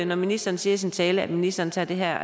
når ministeren siger i sin tale at ministeren tager det her